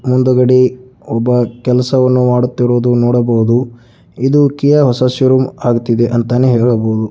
ಮುಂಡೆಕೂಡಿ ಒಬ್ಬ ಕೆಲಸವನ್ನು ಮಾಡುತ್ತಿರುವುದು ನೋಡಬಹುದು ಇದು ಕಿಯ ಹೊಸ ಷೋರೂಮ್ ಆಗುತಿದೆ ಅಂತಾನೆ ಹೇಳಬಹುದು.